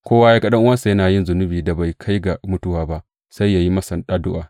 Kowa ya ga ɗan’uwansa yana yin zunubin da bai kai ga mutuwa ba, sai yă yi masa addu’a.